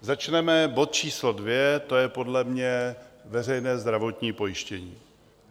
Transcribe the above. Začneme bod číslo 2, to je podle mě veřejné zdravotní pojištění.